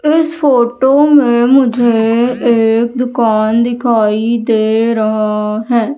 इस फोटो में मुझे एक दुकान दिखाई दे रहा है।